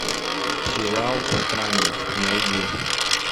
сериал странник найди